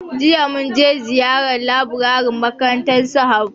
jiya mun je ziyara laburaren makarantar su habu.